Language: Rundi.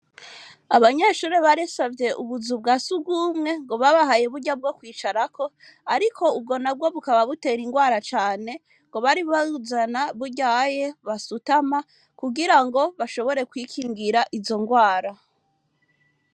Abanyeshure barisavye ubuzu bwa sugumwe, ngo babahaye burya bwo kwicarako, ariko ubwo nabwo bukaba butera indwara cane ngo bari kuzana buryaye basutama, kugira ngo bashobore kwikingira izo ndwara.